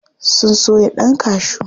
Sun soya ɗan kashu.